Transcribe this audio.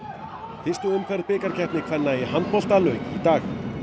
fyrstu umferð bikarkeppni kvenna í handbolta lauk í dag